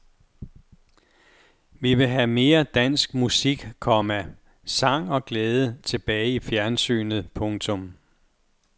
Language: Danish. Vi vil have mere dansk musik, komma sang og glæde tilbage i fjernsynet. punktum